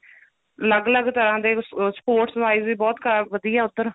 ਅਲੱਗ ਅਲੱਗ ਤਰ੍ਹਾ ਦੇ sports wise ਵੀ ਬਹੁਤ ਵਧੀਆ ਉੱਧਰ